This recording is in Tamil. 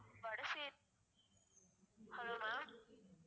வடசே~ hello ma'am